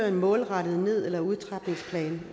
en målrettet ned eller udtrapningsplan